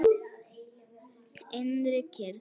Innri kyrrð.